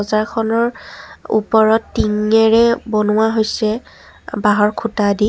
খনৰ ওপৰত টিঙেৰে বনোৱা হৈছে বাঁহৰ খুঁটা দি।